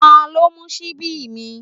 Ta ló mú ṣíbí mi?